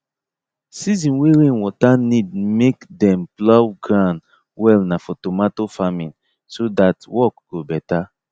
season way rainwater need make dem plough ground well nah for tomato farming so that work go better